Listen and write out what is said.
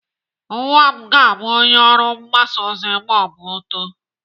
Nwa m ga-abụ onye ọrụ mgbasa ozi ma ọ too.